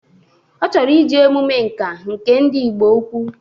Ọ chọrọ ije emume Ǹkà nke ndi Ịgbo ukwu